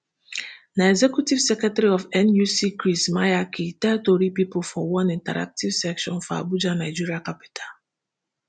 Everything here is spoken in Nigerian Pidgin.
na executive secretary of nuc chris maiyaki tell tori pipo for one interactive session for abuja nigeria capital